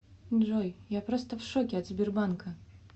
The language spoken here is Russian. джой я просто в шоке от сбербанка